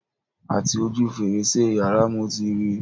Àti ojú fèrèsé yàrá mo ti ri